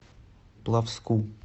плавску